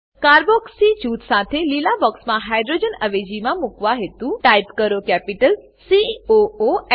carboxy જૂથ સાથે લીલા બોક્સમાં હાઇડ્રોજન અવેજીમાં મુકવા હેતુ ટાઈપ કરો કેપિટલ સી ઓ ઓ હ